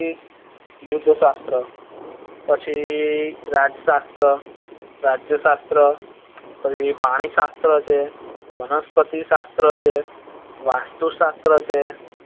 યદ્ધ શાસ્ત્ર પછી રાજ શાસ્ત્ર રાજ્ય શાસ્ત્ર પછી પાણી શાસ્ત્ર છે વનસ્પતિ શાસ્ત્ર છ વાસ્તુ શાસ્ત્ર છે.